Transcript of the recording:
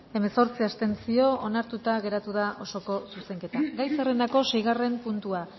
hemezortzi abstentzio onartuta geratu da osoko zuzenketa gai zerrendako seigarren puntua